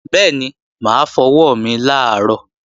Bẹ́ẹ̀ni, mà á fọ ọwọ́ mi làárọ̀